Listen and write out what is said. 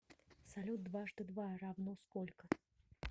салют дважды два равно сколько